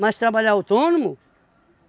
Mas trabalhar autônomo?